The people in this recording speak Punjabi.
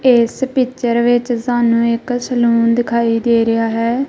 ਇਸ ਪਿਚਰ ਵਿੱਚ ਸਾਨੂੰ ਇੱਕ ਸਲੂਨ ਦਿਖਾਈ ਦੇ ਰਿਹਾ ਹੈ।